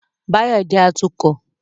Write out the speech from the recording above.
Báyọ̀ jẹ́ atukọ̀